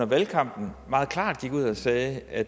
valgkampen meget klart gik ud og sagde at